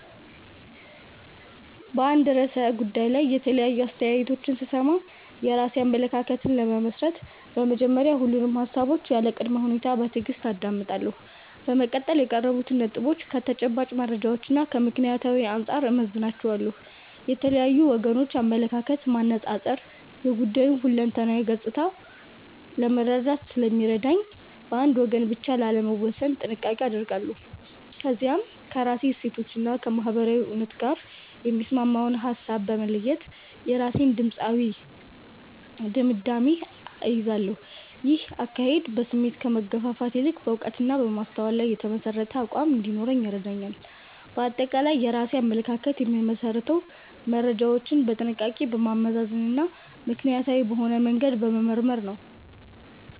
በአንድ ርዕሰ ጉዳይ ላይ የተለያዩ አስተያየቶችን ስሰማ፣ የራሴን አመለካከት ለመመስረት በመጀመሪያ ሁሉንም ሃሳቦች ያለ ቅድመ ሁኔታ በትዕግስት አዳምጣለሁ። በመቀጠል የቀረቡትን ነጥቦች ከተጨባጭ መረጃዎችና ከምክንያታዊነት አንጻር እመዝናቸዋለሁ። የተለያዩ ወገኖችን አመለካከት ማነጻጸር የጉዳዩን ሁለንተናዊ ገጽታ ለመረዳት ስለሚረዳኝ፣ በአንድ ወገን ብቻ ላለመወሰን ጥንቃቄ አደርጋለሁ። ከዚያም ከራሴ እሴቶችና ከማህበረሰባዊ እውነት ጋር የሚስማማውን ሃሳብ በመለየት የራሴን ድምዳሜ እይዛለሁ። ይህ አካሄድ በስሜት ከመገፋፋት ይልቅ በዕውቀትና በማስተዋል ላይ የተመሠረተ አቋም እንዲኖረኝ ይረዳኛል። ባጠቃላይ የራሴን አመለካከት የምመሰርተው መረጃዎችን በጥንቃቄ በማመዛዘንና ምክንያታዊ በሆነ መንገድ በመመርመር ነው።